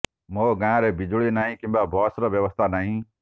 ମୋ ଗାଁରେ ବିଜୁଳି ନାହିଁ କିମ୍ବା ବସ୍ର ବ୍ୟବସ୍ଥା ନାହିଁ